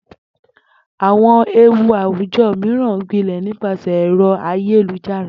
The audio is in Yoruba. Àwo̩n ewu àwùjo̩ mìíràn ń gbilè̩ nípasè̩ è̩ro̩ ayélujára